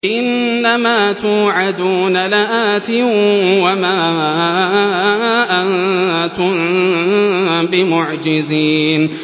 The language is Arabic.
إِنَّ مَا تُوعَدُونَ لَآتٍ ۖ وَمَا أَنتُم بِمُعْجِزِينَ